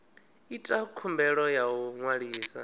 ita khumbelo ya u ṅwalisa